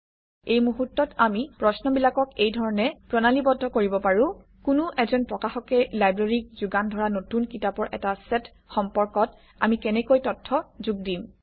এই মুহূৰ্তত আমি প্ৰশ্নবিলাকক এই ধৰণে প্ৰণালীবদ্ধ কৰিব পাৰোঁ কোনো এজন প্ৰকাশকে লাইব্ৰেৰীক যোগান ধৰা নতুন কিতাপৰ এটা চেট সম্পৰ্কত আমি কেনেকৈ তথ্য যোগ দিম